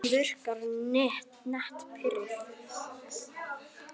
Hún virkar nett pirruð.